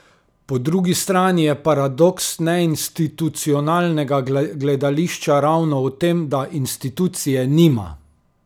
Po drugi strani je paradoks neinstitucionalnega gledališča ravno v tem, da institucije nima.